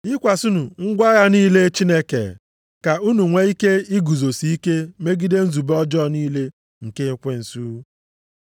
Yikwasịnụ ngwa agha niile Chineke ka unu nwee ike iguzosi ike megide nzube ọjọọ niile nke ekwensu.